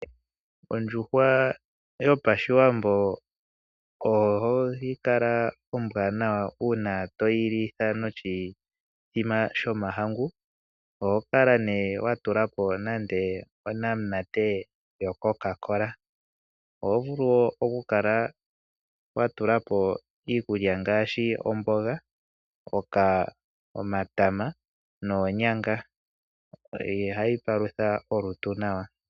Ondjuhwa yOshiwambo ohayi kala ombwaanawa uuna toyi li noshithima shomahangu. Oho kala nduno wa tula po nande onamunanate yo Coca-Cola. Oho vulu nande okukala wa tula po iikulya ngaashi omboga, omatama noonyanga. Ohayi palutha olutu nawa.